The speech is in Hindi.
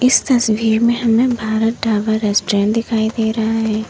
इस तस्वीर में हमें भारत ढाबा रेस्टोरेंट दिखाई दे रहा है।